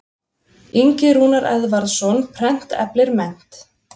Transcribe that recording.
Ingi Rúnar Eðvarðsson, Prent eflir mennt.